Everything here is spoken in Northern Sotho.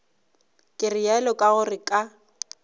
ke realo ka gore ka